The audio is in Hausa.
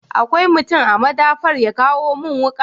Akwai mutum a madafar ya kawo mun wuka?